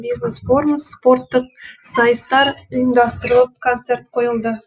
бизнес форум спорттық сайыстар ұйымдастырылып концерт қойылды